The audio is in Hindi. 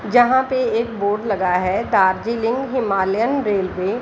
जहाँ पे एक बोर्ड लगा है डार्जिलिंग हिमालयन रेलवे --